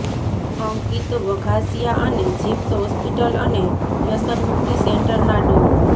અંકિત વઘાસિયા અને જીપ્સ હોસ્પિટલ અને વ્યસનમુકિત સેન્ટરના ડો